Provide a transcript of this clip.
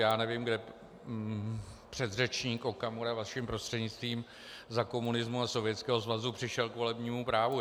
Já nevím, kde předřečník Okamura, vaším prostřednictvím, za komunismu a Sovětského svazu přišel k volebnímu právu.